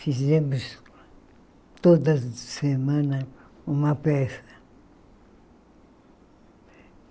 Fizemos, toda semana, uma peça.